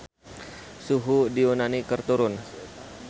Suhu di Yunani keur turun